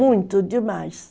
Muito demais.